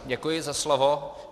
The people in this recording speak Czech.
Děkuji za slovo.